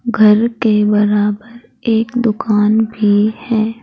घर के बराबर एक दुकान भी है।